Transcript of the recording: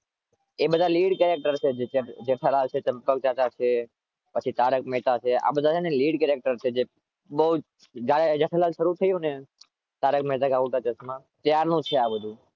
એ બધા lead character છે.